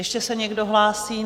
Ještě se někdo hlásí?